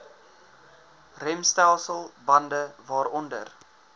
remstelsel bande waaronder